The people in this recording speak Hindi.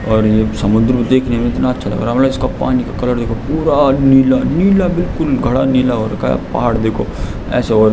और ये समुद्र देखने में इतना अच्छा लग रहा है मतलब इसका पानी का कलर देखो पूरा नीलानीला बिलकुल गाढ़ा नीला हो रखा है पहाड़ देखो ऐसा हो --